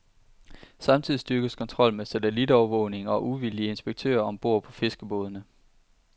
Samtidig styrkes kontrollen med satellitovervågning og uvildige inspektører om bord på fiskerbådene.